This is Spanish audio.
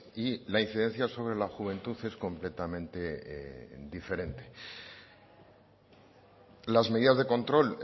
y la incidencia sobre la juventud es completamente diferente las medidas de control